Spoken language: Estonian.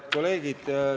Head kolleegid!